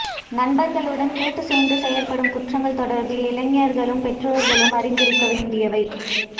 நண்பர்களுடன் கூட்டுச் சேர்ந்து செய்யப்படும் குற்றங்கள் தொடர்பில் இளைஞர்களும் பெற்றோர்களும் அறிந்திருக்கவேண்டியவை